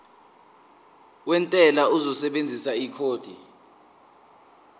wentela uzosebenzisa ikhodi